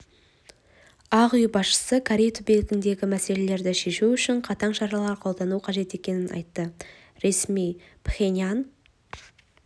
ақ үй басшысы корей түбегіндегі мәселені шешу үшін қатаң шаралар қолдану қажет екенін айтты ресми пхеньян